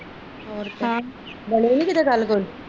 ਹਾਂ ਹੋਰ ਬਾਣੀ ਨੀ ਕੀਤੇ ਗੱਲ